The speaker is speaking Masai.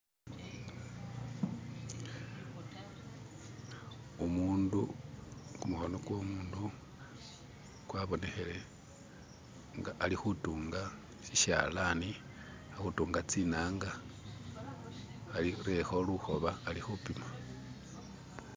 umundu kumukhono kwomundu kwabonekhile nga alikhutunga shishalani alikhutunga tsinanga arerekho lukhoba alikhupima